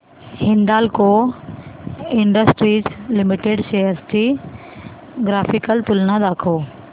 Hindalco industries limited shares ची graphical तुलना दाखव